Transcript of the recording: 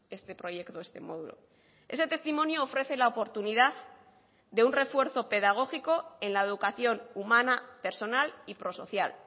este proyecto este módulo ese testimonio ofrece la oportunidad de un refuerzo pedagógico en la educación humana personal y pro social